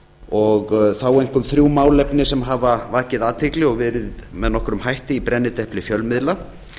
og þá einkum þrjú málefni sem hafa vakið athygli og verið með nokkrum hætti í brennidepli fjölmiðla